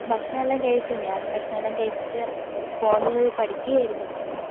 ഭക്ഷണേല്ലാം കഴിച്ചു ഞാൻ ഭക്ഷണേല്ലാം കഴിച്ചിട്ട് ഫോണില് പഠിക്കയാരുന്നു.